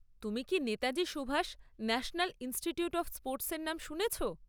তুমি কি Netaji Subhash national institute of স্পোর্টসের নাম শুনেছ?